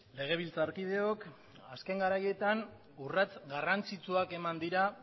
legebiltzarkideok azken garaietan urrats garrantzitsuak eman dira